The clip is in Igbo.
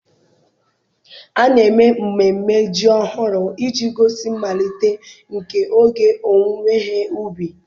A na-eme mmemme Ji ọhụrụ iji gosi mmalite nke oge ọwụwe he ubi.